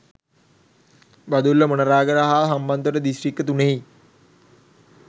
බදුල්ල මොණරාගල හා හම්බන්තොට දිස්ත්‍රික්ක තුනෙහි